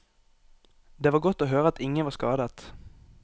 Det var godt å høre at ingen var skadet.